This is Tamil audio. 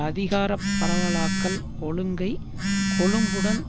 அதிகார பரவலாக்கல் ஒழுங்கை கொழும்புடன்